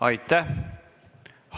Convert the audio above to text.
Aitäh!